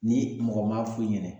Ni mɔgɔ m'a f'u ɲɛna